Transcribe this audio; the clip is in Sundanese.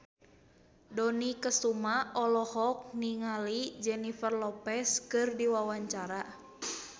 Dony Kesuma olohok ningali Jennifer Lopez keur diwawancara